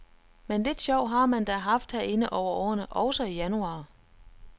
Men lidt sjov har man da haft herinde over årene, også i januar.